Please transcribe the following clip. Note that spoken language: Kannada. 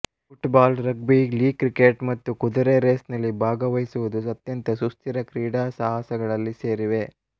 ಫುಟ್ಬಾಲ್ ರಗ್ಬಿ ಲೀಗ್ ಕ್ರಿಕೆಟ್ ಮತ್ತು ಕುದುರೆ ರೇಸ್ನಲ್ಲಿ ಭಾಗವಹಿಸುವುದು ಅತ್ಯಂತ ಸುಸ್ಥಿರ ಕ್ರೀಡಾ ಸಾಹಸಗಳಲ್ಲಿ ಸೇರಿವೆ